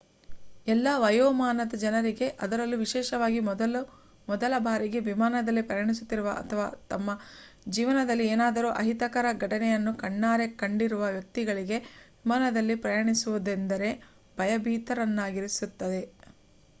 ಎಲ್ಲಾ ವಯೋಮಾನದ ಜನರಿಗೆ ಅದರಲ್ಲೂ ವಿಶೇಷವಾಗಿ ಮೊದಲ ಬಾರಿಗೆ ವಿಮಾನದಲ್ಲಿ ಪ್ರಯಾಣಿಸುತ್ತಿರುವ ಅಥವಾ ತಮ್ಮ ಜೀವನದಲ್ಲಿ ಏನಾದರೂ ಅಹಿತಕರ ಘಟನೆಗಳನ್ನು ಕಣ್ಣಾರೆ ಕಂಡಿರುವ ವ್ಯಕ್ತಿಗಳಿಗೆ ವಿಮಾನದಲ್ಲಿ ಪ್ರಯಾಣಿಸುವುದೆಂದರೆ ಭಯಭೀತರನ್ನಾಗಿಸುತ್ತದೆ